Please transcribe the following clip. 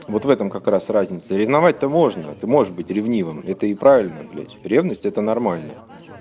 вот в этом как раз разница ревновать-то можно ты можешь быть ревнивым это и правильно блять ревность это нормально